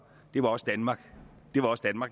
var også danmark